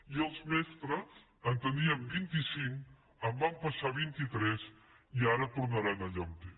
i els mestres en tenien vint i cinc van passar a vint itres i ara tornaran allà on eren